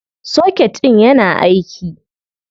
Soket ɗIn yana aiki.